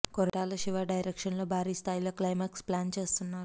Koratala Siva direction లో భారీ స్థాయి లో క్లిమాక్స్ ప్లాన్ చేస్తున్నారు